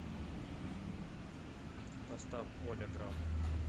поставь оля грам